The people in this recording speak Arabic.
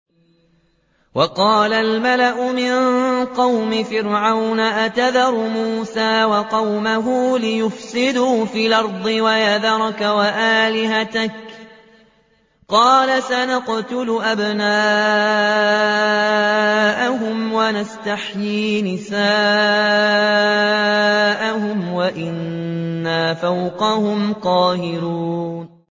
وَقَالَ الْمَلَأُ مِن قَوْمِ فِرْعَوْنَ أَتَذَرُ مُوسَىٰ وَقَوْمَهُ لِيُفْسِدُوا فِي الْأَرْضِ وَيَذَرَكَ وَآلِهَتَكَ ۚ قَالَ سَنُقَتِّلُ أَبْنَاءَهُمْ وَنَسْتَحْيِي نِسَاءَهُمْ وَإِنَّا فَوْقَهُمْ قَاهِرُونَ